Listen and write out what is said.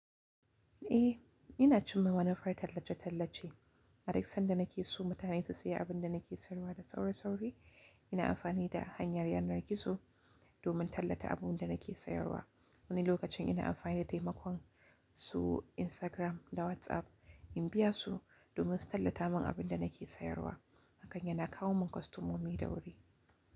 E, ina cimma wani farar tallace-tallace. Adaka sanda na ke so mutane su siya abin da na ke sayarwa da saure-saure, ina amfani da hanyar yanar gizo domin tallata abubuwan da na ke sayarwa. Wani lokacin ina amfani da taimakon su Instagram da WhatsApp in biya su domin su tallata min abin da na ke sayarwa, haka yana kawo min kwastomomi da wuri.